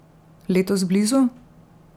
Letos blizu?